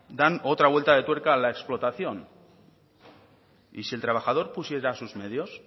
dan otra vuelta de tuerca a la explotación y si el trabajador pusiera sus medios